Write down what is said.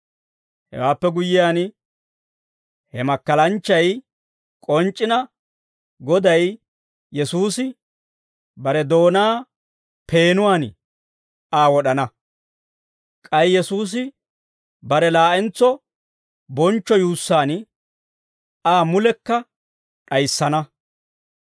Hewaappe guyyiyaan, he makkalanchchay k'onc'c'ina, Goday Yesuusi bare doonaa peenuwaan Aa wod'ana. K'ay Yesuusi bare laa'entso bonchcho yuussaan Aa mulekka d'ayissana.